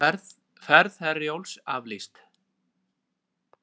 Ferð Herjólfs aflýst